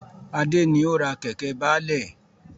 Adé ni ó ra Kẹ̀kẹ́ baálẹ̀